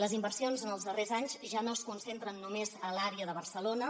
les inversions en els darrers anys ja no es concentren només a l’àrea de barcelona